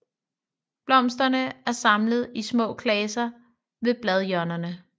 Blomsterne er samlet i små klaser ved bladhjørnerne